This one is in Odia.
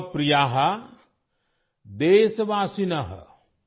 ମମ ପ୍ରିୟାଃ ଦେଶବାସୀନଃ